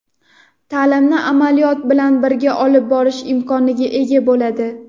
ta’limni amaliyot bilan birga olib borish imkoniga ega bo‘ladi.